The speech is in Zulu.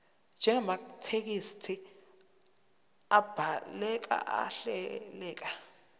njengamathekisthi abhaleke ahleleka